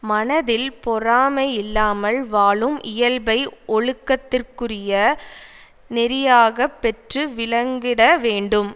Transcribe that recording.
மனத்தில் பொறாமையில்லாமல் வாழும் இயல்பை ஒழுக்கத்திற்குரிய நெறியாகப் பெற்று விளங்கிட வேண்டும்